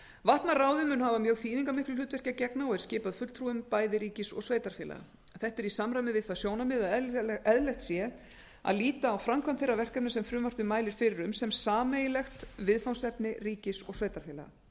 vatnaráðið mun hafa mjög þýðingarmiklu hlutverki að gegna og er skipað fulltrúum bæði ríkis og sveitarfélaga þetta er í samræmi við það sjónarmið að eðlilegt sé að líta á framkvæmd þeirra verkefna sem frumvarpið mælir fyrir um sem sameiginlegt viðfangsefni ríkis og sveitarfélaga